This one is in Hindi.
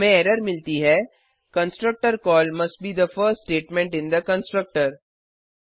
हमें एरर मिलती है constructor call must be the first statement in the constructor